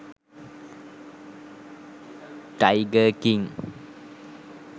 tiger king